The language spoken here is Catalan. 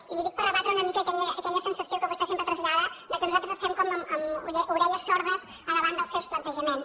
i li ho dic per rebatre una mica aquella sensació que vostè sempre trasllada que nosaltres estem com amb orelles sordes davant dels seus plantejaments